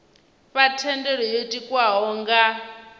fha thendelo yo tikwaho nga